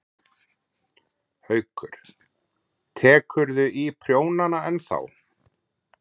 ekki er vitað af hverju litfrumurnar hætta að mynda melanín